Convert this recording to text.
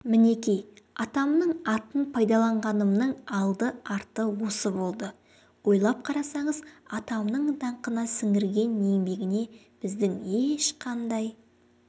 мінекей атамның атын пайдаланғанымның алды арты осы болды ойлап қарасаңыз атамның даңқына сіңірген еңбегіне біздің ешқандай